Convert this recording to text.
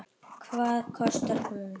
Hvað kostar hún?